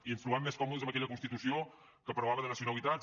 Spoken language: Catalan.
i ens trobàvem més còmodes amb aquella constitució que parlava de nacionalitats